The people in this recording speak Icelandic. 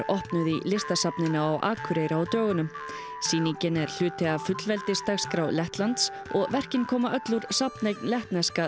opnuð í Listasafninu á Akureyri á dögunum sýningin er hluti af Lettlands og verkin koma öll úr safneign lettneska